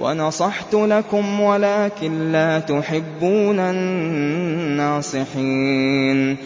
وَنَصَحْتُ لَكُمْ وَلَٰكِن لَّا تُحِبُّونَ النَّاصِحِينَ